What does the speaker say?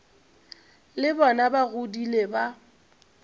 le bona ba godile ba